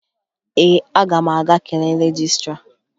Ee, aga m aga kelee rejistra